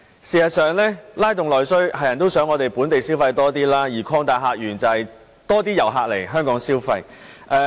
事實上，在拉動內需方面，大家也希望能增加本地消費，而擴大客源則是吸引更多遊客來港消費。